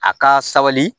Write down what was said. A ka sabali